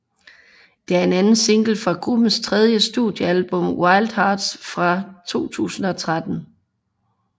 Det er anden single fra gruppens tredje studiealbum Wild Hearts fra 2013